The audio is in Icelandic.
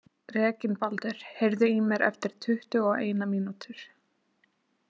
Reginbaldur, heyrðu í mér eftir tuttugu og eina mínútur.